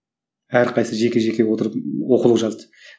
әрқайсысы жеке жеке отырып оқулық жазды